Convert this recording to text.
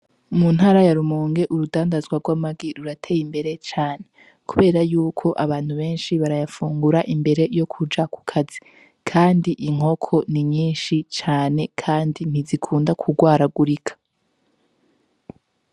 Mu ntara ya Rumonge urudandazwa rw'amagi rurateye imbere cane, kubera yuko abantu benshi barayafungura imbere yo kuja ku kazi, kandi inkoko ni nyinshi cane kandi ntizikunda kugwaragurika.